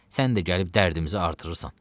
Sən də gəlib dərdimizi artırırsan.